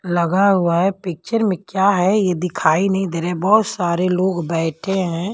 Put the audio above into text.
लगा हुआ है पिक्चर में क्या है ये दिखाई नहीं दे रहे बहुत सारे लोग बैठे हैं।